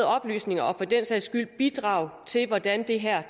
oplysninger og for den sags skyld bidrag til hvordan det her